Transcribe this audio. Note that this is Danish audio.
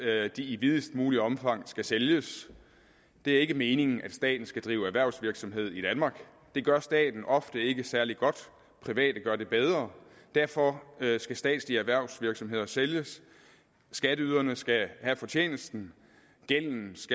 er at de i videst mulige omfang skal sælges det er ikke meningen at staten skal drive erhvervsvirksomhed i danmark det gør staten ofte ikke særlig godt private gør det bedre derfor skal statslige erhvervsvirksomheder sælges skatteyderne skal have fortjenesten gælden